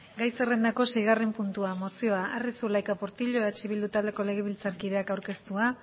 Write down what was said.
gai zerrendako seigarren puntua mozioa arri zulaika portillo eh bildu taldeko legebiltzarkideak aurkeztua